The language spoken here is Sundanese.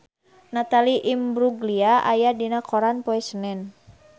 Natalie Imbruglia aya dina koran poe Senen